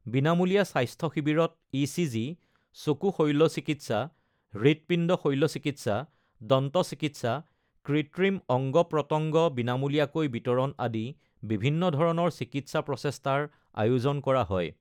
বিনামূলীয়া স্বাস্থ্য শিবিৰত ইচিজি, চকু শল্যচিকিৎসা, হৃৎপিণ্ড শল্যচিকিৎসা, দন্তচিকিৎসা, কৃত্ৰিম অঙ্গ-প্ৰত্যঙ্গ বিনামূলীয়াকৈ বিতৰণ আদি বিভিন্ন ধৰণৰ চিকিৎসা প্ৰচেষ্টাৰ আয়োজন কৰা হয়।